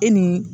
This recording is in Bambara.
E ni